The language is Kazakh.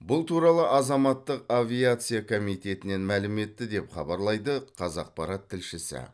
бұл туралы азаматтық авиация комитетінен мәлім етті деп хабарлайды қазақпарат тілшісі